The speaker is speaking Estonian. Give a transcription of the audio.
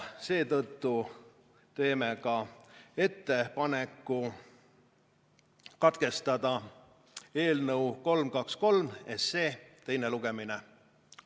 Seetõttu teeme ettepaneku katkestada eelnõu 323 SE teine lugemine.